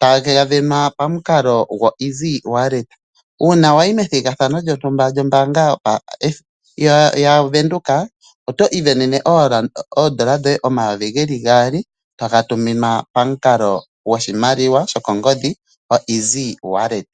taga venwa pa mukalo goEasy wallet. Uuna wayi methigathano lyontumba lyombaanga ya venduka, oto ivenene oondola omayovi goye gaali toga tuminwa pamukalo gwoshimaliwa sho kongodhi goEasy wallet.